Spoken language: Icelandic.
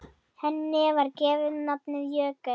Henni var gefið nafnið Jökull.